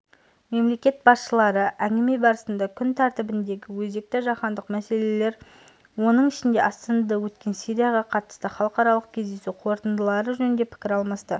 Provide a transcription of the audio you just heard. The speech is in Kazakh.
мемлекет басшылары әңгіме барысында күн тәртібіндегі өзекті жаһандық мәселелер соның ішінде астанада өткен сирияға қатысты халықаралық кездесу қорытындылары жөнінде пікір алмасты